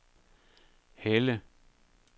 Helle